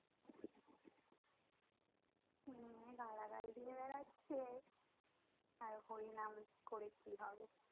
হম গালাগাল দিয়ে বেaড়াচ্ছে আর হরিনাম করে কি হবে